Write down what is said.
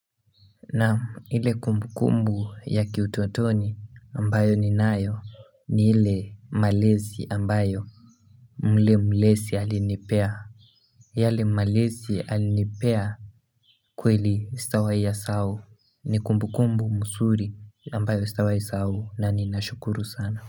Nam, ile kumbu kumbu ya kiutotoni ambayo ninayo ni ile malezi ambayo mle mlesi alinipea yale malezi alinipea kweli sitawahi yasahau ni kumbu kumbu mzuri ambayo sitawahi sahau na ni nashukuru sana.